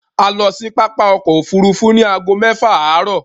A lọ sí pápá ọkọ̀-òfurufú ní ago mẹ́fà àárọ̀.